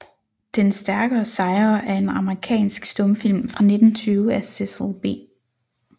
Den Stærkere sejrer er en amerikansk stumfilm fra 1920 af Cecil B